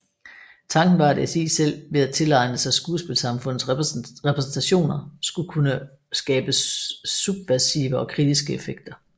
Tanken var at SI selv ved at tilegne sig skuespilsamfundets repræsentationer skulle kunne skabe subversive og kritiske effekter